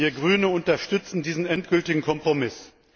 Wir Grüne unterstützen diesen endgültigen Kompromiss.